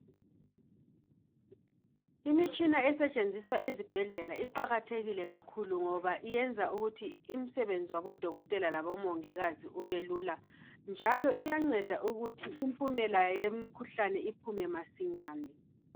Imitshina esetshenziswa ezibhedlela iqakathekile kakhulu ngoba iyenza ukuthi imsebenzi wabodokotela labomongikazi ubelula njalo iyanceda ukuthi impumela yemkhuhlane iphume masinyane